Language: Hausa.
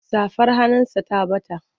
Safar hannunsa ta ɓata.